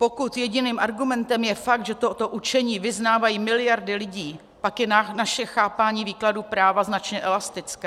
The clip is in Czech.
Pokud jediným argumentem je fakt, že toto učení vyznávají miliardy lidí, pak je naše chápání výkladu práva značně elastické.